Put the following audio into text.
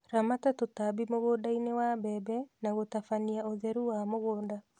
Ramata tũtambi mũgũndainĩ wa mbembe na gũtabania ũtheru wa mũgũnda